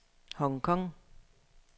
Hong Kong